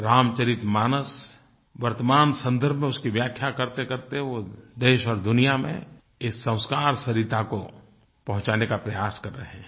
रामचरितमानस वर्तमान सन्दर्भ में उसकी व्याख्या करतेकरते वो देश और दुनिया में इस संस्कार सरिता को पहुँचाने का प्रयास कर रहे हैं